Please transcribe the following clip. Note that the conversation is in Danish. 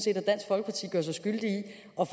at